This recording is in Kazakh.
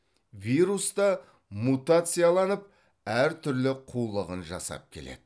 вирус та мутацияланып әр түрлі қулығын жасап келеді